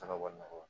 Taga bɔ nɔgɔ